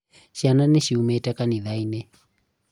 ciana niciũmĩte kanĩtha-inĩ